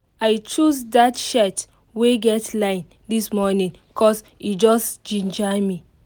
i choose that shirt wey get line this morning cos e just ginger me